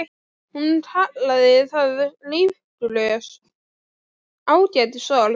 Hún kallar það lífgrös, ágætis orð.